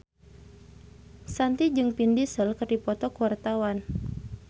Shanti jeung Vin Diesel keur dipoto ku wartawan